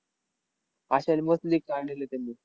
अश्याने मस्त league त्यांनी.